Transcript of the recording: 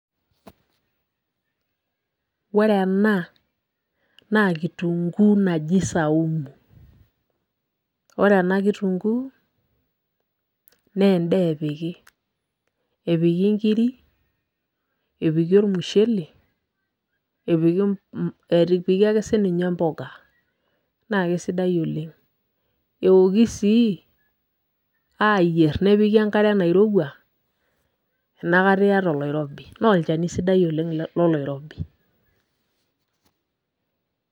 Ore ena, naa kitunkuu naji saumu. Ore ena kitunkuu, nendaa epiki. Epiki nkiri, epiki ormushele, epiki ake sinye mboga. Naa kesidai oleng. Eoki sii, ayier nepiki enkare nairowua, enakata yiata oloirobi. Na olchani sidai oleng loloirobi.